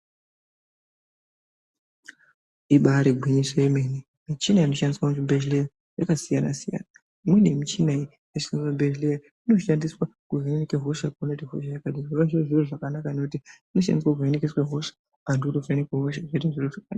Ibari gwinyiso remene mushina inoshandiswa muzvibhedhlera yakasiyana siyana imweni yemushina inoshandiswa muzvibhedhlera inoshandiswa kuhina hosha zvinova zviri zviro zvakanaka ngekuti inoshandiswa kuhinika hosha vantu votovhemekwa hosha zviro zvoita zvakanaka.